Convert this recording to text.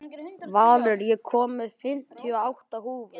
Valur, ég kom með fimmtíu og átta húfur!